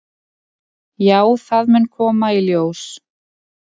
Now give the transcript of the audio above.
"""Já, það mun koma í ljós."""